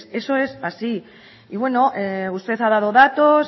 eso es así y bueno usted ha dado datos